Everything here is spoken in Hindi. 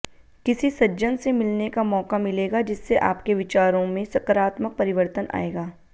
किसी सज्जन से मिलने का मौका मिलेगा जिससे आपके विचारों में सकारात्मक परिवर्तन आएगा